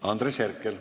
Andres Herkel.